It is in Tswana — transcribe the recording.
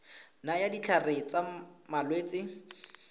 nayang ditlhare tsa malwetse le